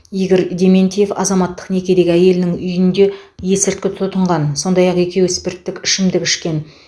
игорь дементьев азаматтық некедегі әйелінің үйінде есірткі тұтынған сондай ақ екеуі спирттік ішімдік ішкен